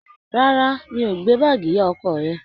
Rárá, mi ò gbé báàgì ìyá ọkọ rẹ.